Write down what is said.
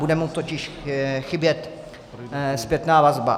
Bude mu totiž chybět zpětná vazba.